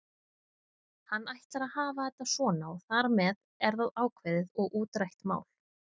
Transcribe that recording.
Hann ætlar að hafa þetta svona og þar með er það ákveðið og útrætt mál.